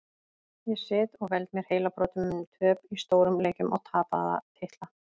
Ég sit og veld mér heilabrotum um töp í stórum leikjum og tapaða titla.